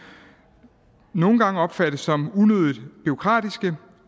nogle gange opfattes som unødigt bureaukratisk